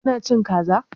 Ƙina cin Ƙaza?